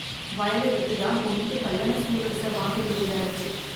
வயல வித்து தான் பொண்ணுக்கு கல்யாண சீர்வரிச வாங்க வேண்டியதாயிருச்சு